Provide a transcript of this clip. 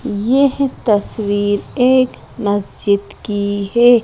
यह तस्वीर एक मस्जिद की है।